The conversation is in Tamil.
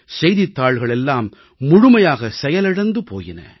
செய்தித்தாள்கள் எல்லாம் முழுமையாக செயலிழந்து போயின